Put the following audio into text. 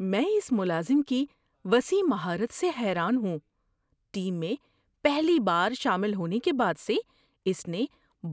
میں اس ملازم کی وسیع مہارت سے حیران ہوں – ٹیم میں پہلی بار شامل ہونے کے بعد سے اس نے